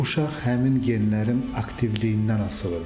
Uşaq həmin genlərin aktivliyindən asılıdır.